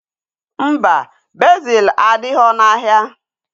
Mba, bezil adighọ n'ahịa